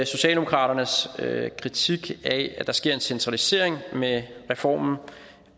socialdemokraternes kritik af at der sker en centralisering med reformen